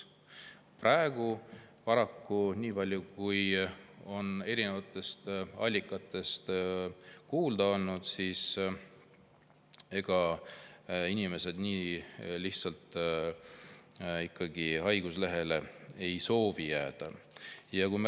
Praegu paraku, nii palju kui on erinevatest allikatest kuulda olnud, inimesed nii lihtsalt haiguslehele ei soovi ikkagi jääda.